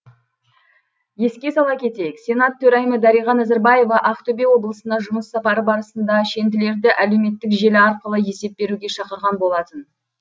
еске сала кетейік сенат төрайымы дариға назарбаева ақтөбе облысына жұмыс сапары барысында шенділерді әлеуметтік желі арқылы есеп беруге шақырған болатын